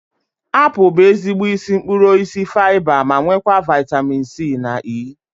Apụl bụ ezigbo isi mkpụrụ osisi faiba ma nwekwa vaitamin C na E